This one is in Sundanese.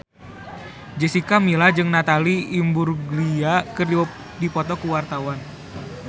Jessica Milla jeung Natalie Imbruglia keur dipoto ku wartawan